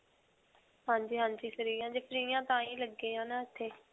ਹਾਂਜੀ. ਹਾਂਜੀ free ਹਾਂ, ਜੇ free ਹਾਂ ਤਾਂਹੀ ਲੱਗੇ ਹੈ ਨਾ ਇੱਥੇ.